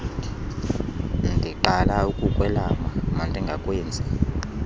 ndiqala ukukwelama mandingawenzi